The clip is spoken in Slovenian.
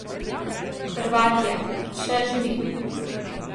Hrvat je, še živi.